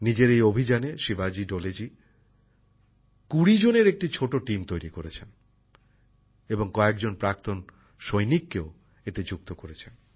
নিজের এই অভিযানে শিবাজী ডোলেজি কুড়ি জনের একটি ছোট টিম তৈরি করেছেন এবং কয়েকজন প্রাক্তন সৈনিককেও এতে যুক্ত করেছেন